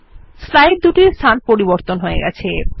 slide দুটির স্থান পরিবর্তন হয়ে গেছে